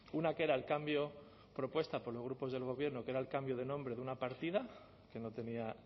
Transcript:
una que era el cambio propuesta por los grupos del gobierno que era el cambio de nombre de una partida que no tenía